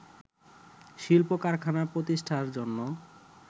শিল্প কারখানা প্রতিষ্ঠার জন্য